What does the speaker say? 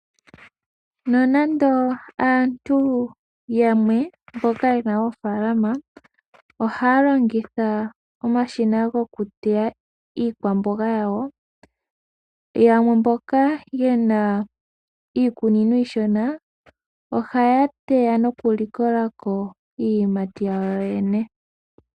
Nonando aantu yamwe mboka yena oofaalama ohaalongitha omashina gokuteya iikwamboga yawo, yamwe mboka yena iikunino iishona ohaya teya nokuli likolako iiyimati yawo yene.